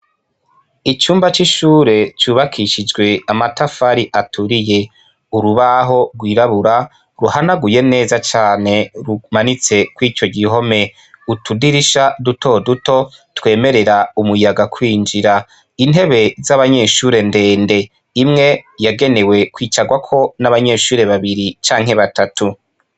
Icumba c’ishure c’ubakishijwe amatafari aturiye, urubaho rw’irabura ruhanaguye neza cane rumanitse kwico gihome, utudirisha duto duto twemerera umuyaga kwinjira, intebe z’abanyeshure ndende imwe yagenewe kwicarwako n’abanyeshure babiri canke batatu.